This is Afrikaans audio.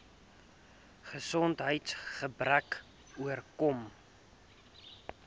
gesondheids gebreke oorkom